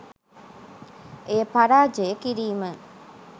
එය පරාජය කිරීම